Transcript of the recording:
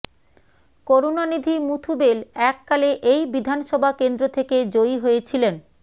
করুণানিধি মুথুবেল এক কালে এই বিধানসভা কেন্দ্র থেকে জয়ী হয়েছিলেন